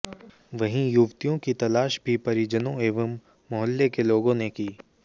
वहीं युवतियों की तलाश भी परिजनों एवं मोहल्ले के लोगों ने की